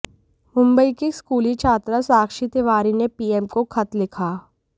मुबंई की एक स्कूली छात्रा साक्षी तिवारी ने पीएम को खत लिखा